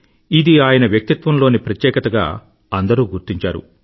ఇది ఆయన వ్యక్తిత్వంలోని ప్రత్యేకతగా అందరూ గుర్తించారు